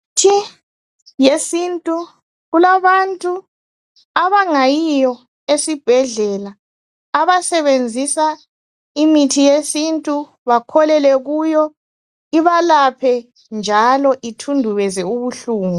Imithi yesintu, kulabantu abangayiyo esibhedlela. Abasebenzisa imithi yesintu, bakholelwe kuyo. Ibalaphe njalo ithundubeze ubuhlungu,